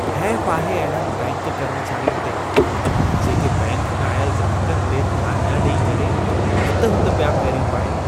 हैफ़ आहे अहिड़नि बैंक कर्मचारियुनि जेके बैंक में आयल ग्राहकनि ते ध्यान न ॾेई करे हित-हुत पिया फेरियूं पाईनि।